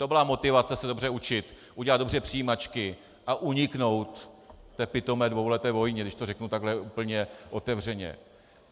To byla motivace se dobře učit, udělat dobře přijímačky a uniknout té pitomé dvouleté vojně, když to řeknu tak úplně otevřeně.